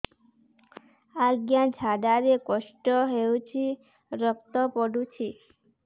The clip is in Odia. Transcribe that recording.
ଅଜ୍ଞା ଝାଡା ରେ କଷ୍ଟ ହଉଚି ରକ୍ତ ପଡୁଛି